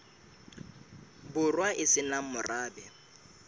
borwa e se nang morabe